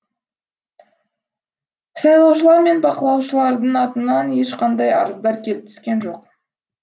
сайлаушылар мен бақылаушылардың атынан ешқандай арыздар келіп түскен жоқ